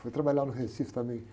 Foi trabalhar no Recife também.